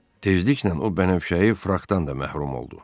Tezliklə o bənövşəyi frakdan da məhrum oldu.